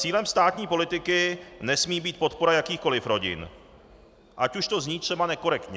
Cílem státní politiky nesmí být podpora jakýchkoliv rodin, ať už to zní třeba nekorektně.